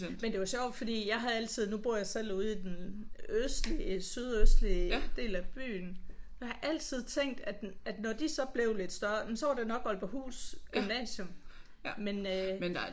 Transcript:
Men det var sjovt fordi jeg havde altid nu bor jeg selv ude i den østlige sydøstlige del af byen. Jeg har altid tænkt at når de så blev lidt større jamen så var det nok Aalborghus Gymnasium men øh